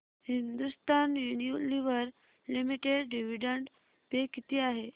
Hindustan Unilever Limited dividend pay किती आहे